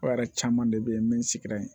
O yɛrɛ caman de bɛ yen min sigira yen